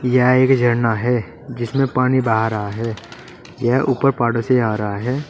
यह एक झरना है जिसमें पानी बहा रहा है यह ऊपर पहाड़ों से आ रहा है।